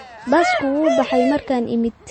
Basku wuu baxay markaan imid